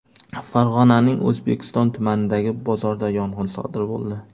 Farg‘onaning O‘zbekiston tumanidagi bozorda yong‘in sodir bo‘ldi.